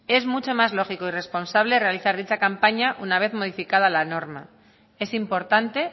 es mucho más lógico y responsable realizar dicha campaña una vez modificada la norma es importante